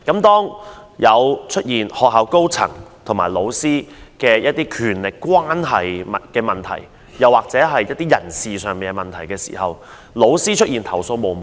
當出現學校高層與老師的權力關係問題或一些人事問題時，老師往往投訴無門。